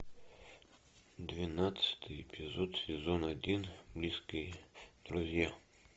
двенадцатый эпизод сезон один близкие друзья